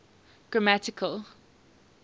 grammatical